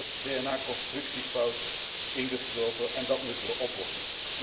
Er is een soort DNA constructiefout in geslopen en dat moeten we oplossen.